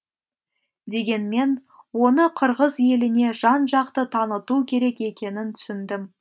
дегенмен оны қырғыз еліне жан жақты таныту керек екенін түсіндім